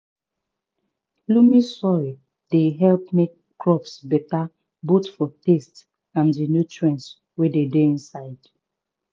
loamy soil dey help make crops beta both for taste and di nutrients wey dey inside